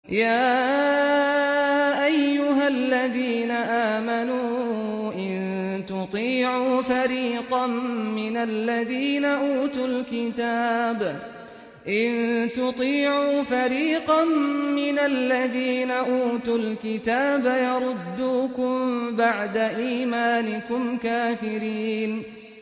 يَا أَيُّهَا الَّذِينَ آمَنُوا إِن تُطِيعُوا فَرِيقًا مِّنَ الَّذِينَ أُوتُوا الْكِتَابَ يَرُدُّوكُم بَعْدَ إِيمَانِكُمْ كَافِرِينَ